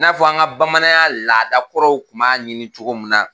I n'a fɔ an ka bamananya laadakɔrɔw kun b'a ɲini cogo mun na.